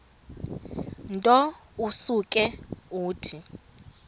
nto usuke uthi